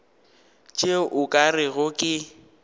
tšeo o ka rego ke